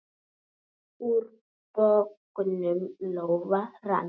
Úr bognum lófa rann.